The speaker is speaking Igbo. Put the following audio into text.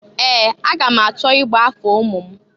Ee! Aga m achọ igba afa ụmụ m.